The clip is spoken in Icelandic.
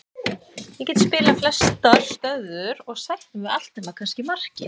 Ég get spilað flestar stöður og sætti mig við allt nema kannski markið.